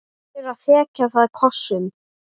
Byrjar að þekja það kossum.